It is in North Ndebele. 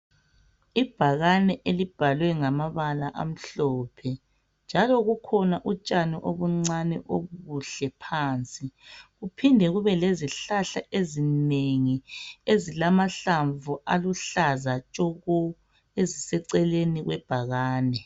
Ibhakani elibhalwe ngamabala amhlophe . Njalo kukhona utshani okuncane okuhle phansi. Kuphinde kube lezihlahla ezinengi ezilamahlamvu aluhlaza tshoko eziseceleni kwebhakani.